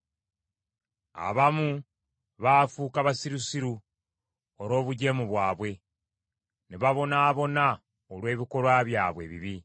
Abamu baafuuka basirusiru olw’obujeemu bwabwe; ne babonaabona olw’ebikolwa byabwe ebibi.